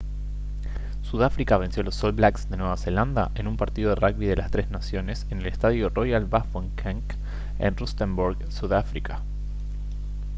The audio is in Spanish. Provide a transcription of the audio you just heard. sudáfrica venció a los all blacks de nueva zelanda en un partido de rugby de las tres naciones en el estadio royal bafokeng en rustenburg sudáfrica